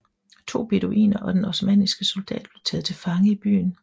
To beduiner og en osmannisk soldat blev taget til fange i byen